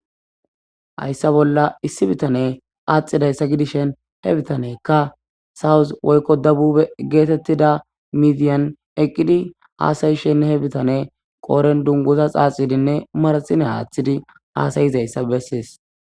Hayssa bolla issi bitaney qaaxidayssa gidishin he bitaney south woyko debube geetetida midiyan eqqidi haasa'ishenne he bitaney qoodhen dunguxa xaaxidinne manaxire aathidi haasa'izayssa besees.